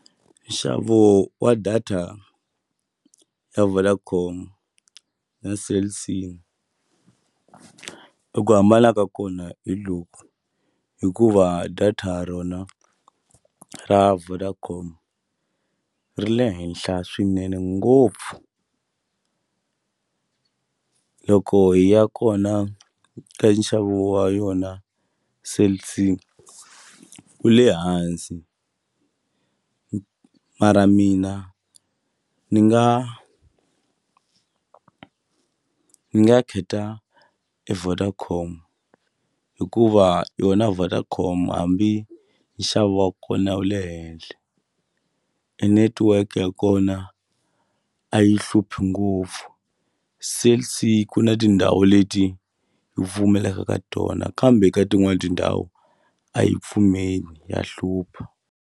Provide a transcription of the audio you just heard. Nxavo wa data ya Vodacom na Cell C eku hambana ka kona hi loku hikuva data rona ra Vodacom ri le henhla swinene ngopfu loko hi ya kona nxavo wa yona Cell C wu le hansi mara mina ni nga ni nga kheta e Vodacom hikuva yona Vodacom hambi nxavo wa kona wu le henhle e network ya kona a yi hluphi ngopfu se siku na tindhawu leti wu pfumelaka ka tona kambe ka tin'wani tindhawu a yi pfumeli ya hlupha.